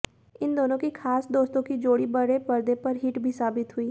इन दोनों की खास दोस्तों की जोड़ी बड़े परदे पर हिट भी साबित हुई